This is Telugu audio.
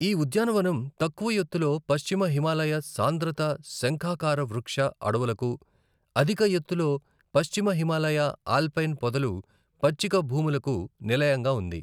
ఈ ఉద్యానవనం తక్కువ ఎత్తులో పశ్చిమ హిమాలయ సాంద్రత శంఖాకారవృక్ష అడవులకు, అధిక ఎత్తులో పశ్చిమ హిమాలయ ఆల్పైన్ పొదలు, పచ్చికభూములకు నిలయంగా ఉంది.